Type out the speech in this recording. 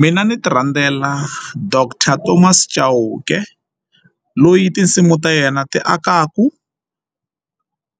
Mina ni ti rhandzela doctor Thomas Chauke loyi tinsimu ta yena ti akaka